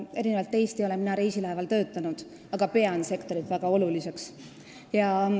Erinevalt teist ei ole mina reisilaeval töötanud, aga pean sektorit väga oluliseks.